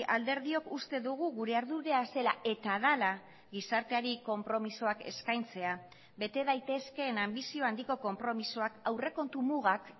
alderdiok uste dugu gure ardura zela eta dela gizarteari konpromisoak eskaintzea bete daitezkeen anbizio handiko konpromisoak aurrekontu mugak